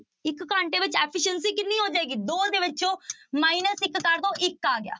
ਇੱਕ ਘੰਟੇ ਵਿੱਚ efficiency ਕਿੰਨੀ ਹੋ ਜਾਏਗੀ ਦੋ ਦੇ ਵਿੱਚੋਂ minus ਇੱਕ ਕਰ ਦਓ ਇੱਕ ਆ ਗਿਆ।